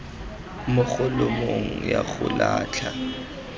mo kholomong ya go latlha